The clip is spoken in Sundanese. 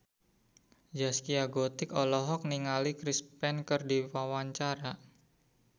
Zaskia Gotik olohok ningali Chris Pane keur diwawancara